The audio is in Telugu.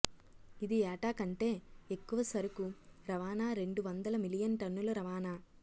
ఇది ఏటా కంటే ఎక్కువ సరుకు రవాణా రెండు వందల మిలియన్ టన్నుల రవాణా